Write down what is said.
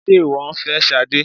Sé ìwọ ń fẹ́ Sade?